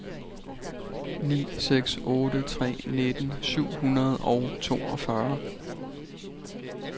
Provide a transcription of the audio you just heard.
ni seks otte tre nitten syv hundrede og toogfyrre